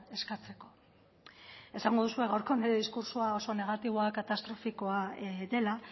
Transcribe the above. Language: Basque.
eskatzeko esango duzue gaurko nire diskurtsoa oso negatiboa katastrofikoa dela